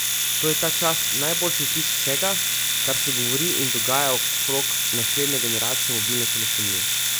To je ta čas najboljši opis vsega, kar se govori in dogaja okrog naslednje generacije mobilne telefonije.